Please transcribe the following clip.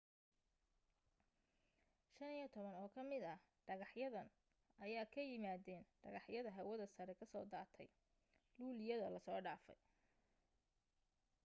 15 oo ka mid ah dhegaxyadan ayaa ka yimaadeen dhagaxyada hawada sare ka soo daatay luuliyada lasoo dhaafay